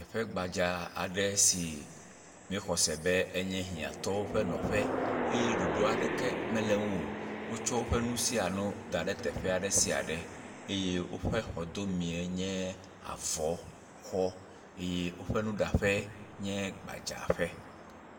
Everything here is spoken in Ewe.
..ƒe gbadza aɖe si míexɔ se enye hɛ̃atɔwo ƒe nɔƒe eye ɖoɖo aɖeke mele ŋuo, wotsɔ woƒe nu sia nu da ɖe teƒe aɖe sia ɖe, eye woƒe xɔdɔmee nye avɔ xɔ eye woƒe nuɖaƒe nye gbadzaƒe.